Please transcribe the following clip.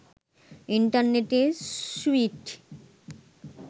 internet sweet